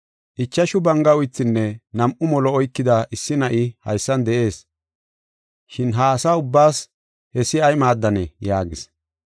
“Ichashu banga uythinne nam7u molo oykida issi na7ay haysan de7ees, shin ha asa ubbaas hessi ay maaddanee?” yaagis.